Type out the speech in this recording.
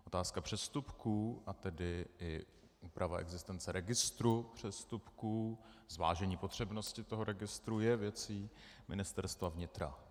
Otázka přestupků, a tedy i úprava existence registru přestupků, zvážení potřebnosti toho registru je věcí Ministerstva vnitra.